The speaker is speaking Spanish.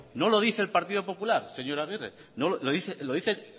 no lo dice el partido popular señor agirre lo dicen